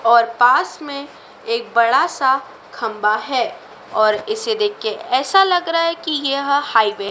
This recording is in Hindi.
और पास में एक बड़ा सा खंभा है और इसे देख के ऐसा लग रहा है कि यह हाईवे --